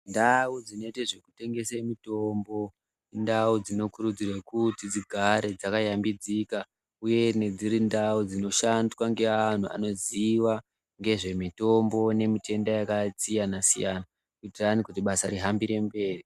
Ndau dzinoite zvekutengese mitombo indau dzinokurudzirwe kuti dzigare dzakashambidzika uyeni dzirindau dzinoshandwa ngeantu anoziva ngezvemitombo ngemitenda yakasiyana-siyana. Kuitirani kuti basa rihambire mberi.